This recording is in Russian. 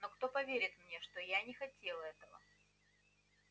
но кто поверит мне что я не хотел этого